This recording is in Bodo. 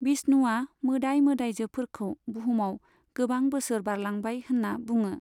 विष्णुआ मोदाय मोदायजोफोरखौ बुहुमाव गोबां बोसोर बारलांबाय होन्ना बुङो।